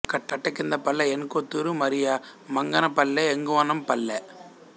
కట్టకింద Palle N Kothuru మరియ మంగన పల్లె ఎగువనంపల్లె